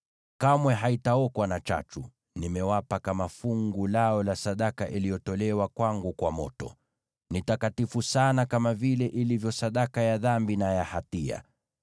Kamwe haitaokwa na chachu; nimewapa kama fungu lao la sadaka iliyotolewa kwangu kwa moto. Ni takatifu sana, kama vile ilivyo sadaka ya dhambi na ya hatia.